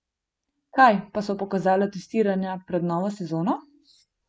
Kaj pa so pokazala testiranja pred novo sezono?